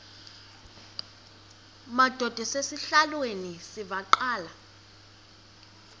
madod asesihialweni sivaqal